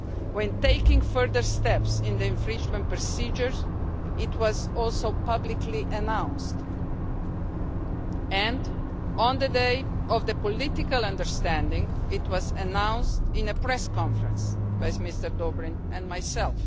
When taking further steps in the infringement procedures, this was also publicly announced and, on the day of the political understanding, this was announced in a press conference by Mr Dobrindt and myself.